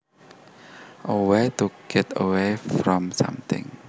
A way to get away from something